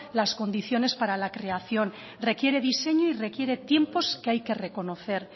las condiciones para la creación requiere diseño y requiere tiempos que hay que reconocer